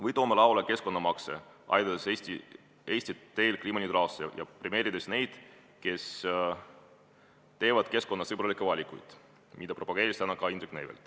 Või toome lauale keskkonnamaksu, aidates Eestit teel kliimaneutraalsuse poole ja premeerides neid, kes teevad keskkonnasõbralikke valikuid, mida propageeris täna ka Indrek Neivelt.